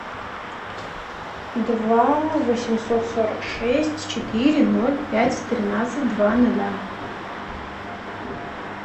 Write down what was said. два восемьсот сорок шесть четыре ноль пять тринадцать два ноля